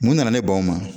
Mun nana ne b'an ma